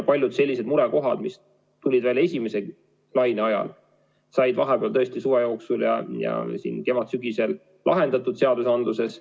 Paljud murekohad, mis tulid välja esimese laine ajal, said vahepeal, ja suve jooksul lahendatud seadusandluses.